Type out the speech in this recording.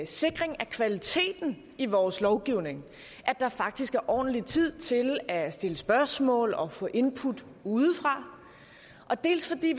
sikring af kvaliteten i vores lovgivning at der faktisk er ordentlig tid til at stille spørgsmål og få input udefra dels fordi